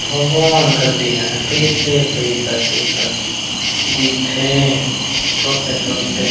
भगवान कस दिखत हे पइसे पइसा के कस दिखथे छोटे-छोटे--